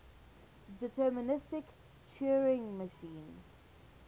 deterministic turing machine